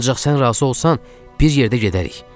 Ancaq sən razı olsan, bir yerdə gedərik.